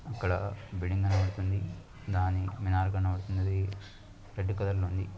అక్కడ బిల్డింగ్ కనపడతుంది. దాని మినార్ కనపడుతునది. రెడ్ కలర్ లో ఉంది.